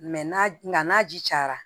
n'a ji cayara